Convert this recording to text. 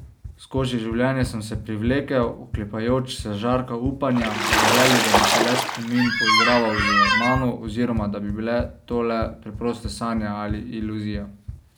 Skozi življenje sem se privlekel, oklepajoč se žarka upanja, v želji, da bi se le spomin poigraval z mano oziroma da bi bile to le preproste sanje ali iluzija.